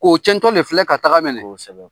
K'o cɛntɔ de filɛ ka taga mɛnɛ. Kosɛbɛ.